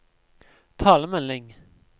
talemelding